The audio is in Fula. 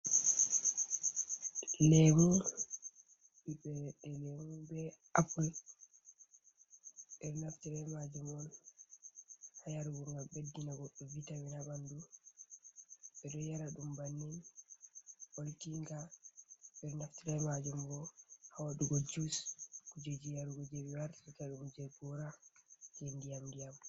Lemu be apple flmum ol ha yarugo ngam beddinago vittavena bandu bedo yara dum bannin olkinga flmjum bo haudugo jus kujeji yarugo je bi wartaka dum je bora je ndiyam diyam.